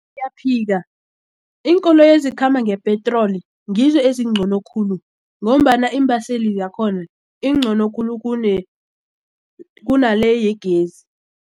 Ngiyaphika iinkoloyi ezikhamba ngepetroli ngizo ezingcono khulu ngombana iimbaseli zakhona ingcono khulu kunale yegezi.